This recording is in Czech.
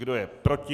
Kdo je proti?